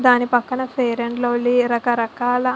దాని పక్కన Fair and Lovely రక రకాల.